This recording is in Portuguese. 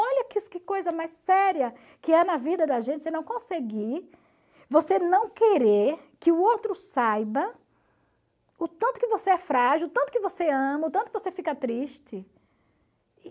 Olha que coisa mais séria que é na vida da gente você não conseguir, você não querer que o outro saiba o tanto que você é frágil, o tanto que você ama, o tanto que você fica triste.